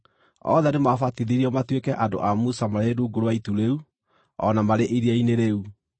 Othe nĩmabatithirio matuĩke andũ a Musa marĩ rungu rwa itu rĩu, o na marĩ iria-inĩ rĩu.